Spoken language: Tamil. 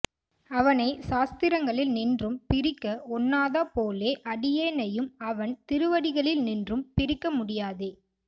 அவனை சாஸ்திரங்களில் நின்றும் பிரிக்க ஒண்ணாதா போலே அடியேனையும் அவன் திருவடிகளில் நின்றும் பிரிக்க முடியாதே